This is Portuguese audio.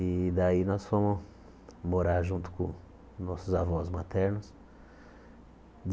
E daí nós fomos morar junto com nossos avós maternos.